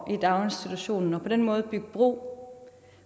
daginstitutionen og på den måde bygge bro